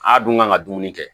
A dun kan ka dumuni kɛ